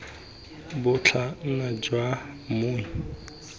bo tla nna jwa mmu